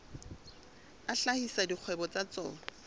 a hlahisa dikgwebo tsa tsona